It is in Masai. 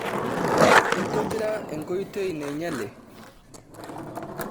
Intobira enkoitoi nainyale?